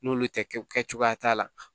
N'olu tɛ kɛ cogoya t'a la